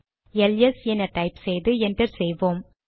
LS என type செய்து enter செய்வோம்